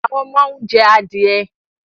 Àwọn ọmọ ń jẹ adìẹ